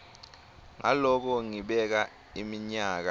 ngaloko ngibeka iminyaka